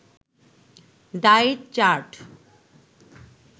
diet chart